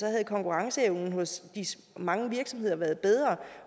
havde konkurrenceevnen hos mange virksomheder været bedre